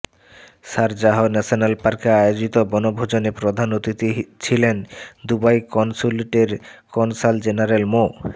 Sharjah national পার্কে আয়োজিত বনভোজনে প্রধান অতিথি ছিলেন দুবাই কনস্যুলেটের কনসাল জেনারেল মো